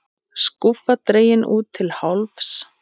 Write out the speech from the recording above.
Skúffa dregin út til hálfs.